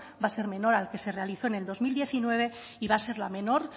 va a ser menor al que se realizó en el dos mil diecinueve y va a ser la menor